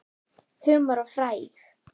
Humar og frægð?